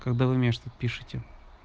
когда вы мне что пишите